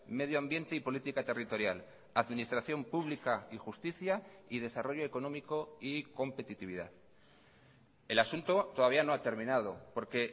medio ambiente y política territorial administración pública y justicia y desarrollo económico y competitividad el asunto todavía no ha terminado porque